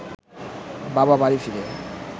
বাবা বাড়ি ফিরে